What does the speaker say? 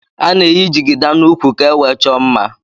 Ana eyi jigida na úkwú ka ewee chọọ mmá.